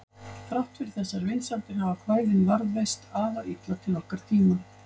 Þrátt fyrir þessar vinsældir hafa kvæðin varðveist afar illa til okkar tíma.